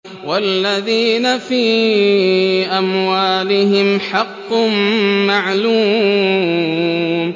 وَالَّذِينَ فِي أَمْوَالِهِمْ حَقٌّ مَّعْلُومٌ